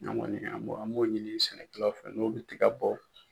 An kɔni an m'o an m'o ɲini sɛnɛkɛlaw fɛ n'u bɛ tiga bɔ.